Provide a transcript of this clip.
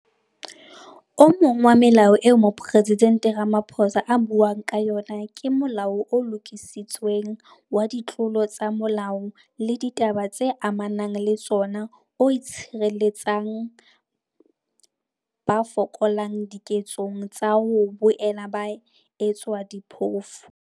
O mong wa melao eo Mopresidente Ramaphosa a buang ka yona ke Molao o Lokisitsweng wa Ditlolo tsa Molao le Ditaba tse Ama nang le Tsona o tshireletsang ba fokolang diketsong tsa ho boela ba etswa diphofu.